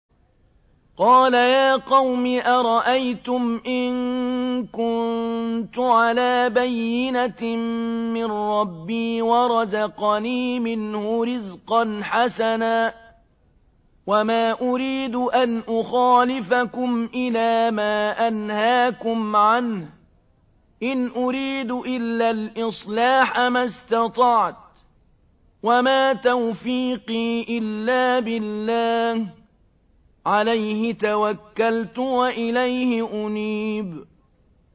قَالَ يَا قَوْمِ أَرَأَيْتُمْ إِن كُنتُ عَلَىٰ بَيِّنَةٍ مِّن رَّبِّي وَرَزَقَنِي مِنْهُ رِزْقًا حَسَنًا ۚ وَمَا أُرِيدُ أَنْ أُخَالِفَكُمْ إِلَىٰ مَا أَنْهَاكُمْ عَنْهُ ۚ إِنْ أُرِيدُ إِلَّا الْإِصْلَاحَ مَا اسْتَطَعْتُ ۚ وَمَا تَوْفِيقِي إِلَّا بِاللَّهِ ۚ عَلَيْهِ تَوَكَّلْتُ وَإِلَيْهِ أُنِيبُ